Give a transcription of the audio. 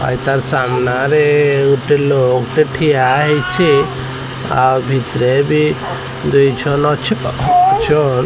ଆରି ତା ସାମ୍ନା ରେ ଗୋଟେ ଲୋକ ଟେ ଠିଆ ହେଇଛି ଆଉ ଭିତରେ ବି ।